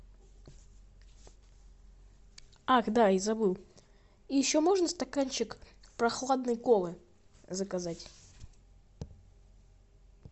ах да я забыл и еще можно стаканчик прохладной колы заказать